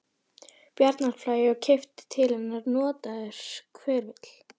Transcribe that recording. Bjarnarflagi og keyptur til hennar notaður hverfill.